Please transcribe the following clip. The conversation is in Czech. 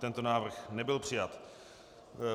Tento návrh nebyl přijat.